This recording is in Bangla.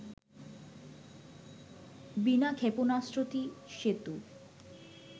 বিনা ক্ষেপণাস্ত্রটি সেতু